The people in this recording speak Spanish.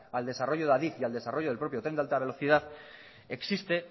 al desarrollo de adif y al desarrollo del propio tren de alta velocidad existe